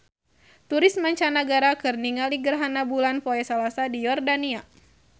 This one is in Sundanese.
Turis mancanagara keur ningali gerhana bulan poe Salasa di Yordania